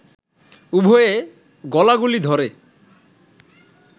উভয়ে গলাগলি ধরে